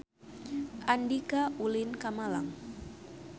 Andika ulin ka Malang